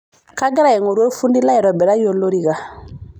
Kagira aing'oru olfundi laitobiraki olorika.